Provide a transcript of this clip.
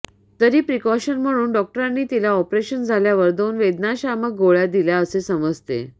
तरी प्रीकॉशन म्हणून डॉक्टरनी तिला ऑपरेशन झाल्यावर दोन वेदनाशामक गोळ्या दिल्या असे समजते